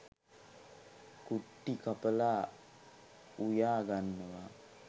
කුට්ටි කපලා උයා ගන්නවා.